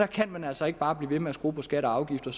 kan man altså ikke bare blive ved med at skrue på skatter og afgifter